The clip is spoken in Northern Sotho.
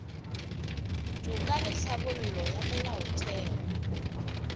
toka le tlhabollo ya molaotheo